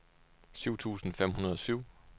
syv tusind fem hundrede og syv